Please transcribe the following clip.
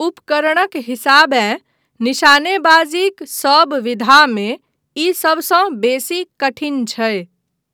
उपकरणक हिसाबेँ निशानेबाजीक सभ विधामे ई सभसँ बेसी कठिन छै।